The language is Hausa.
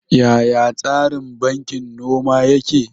Yaya tsarin bankin noma yake?